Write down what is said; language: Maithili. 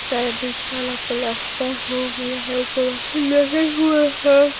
शायद नीचे वाला प्लास्टर हो गया है ऊपर वाला नहीं हुआ है।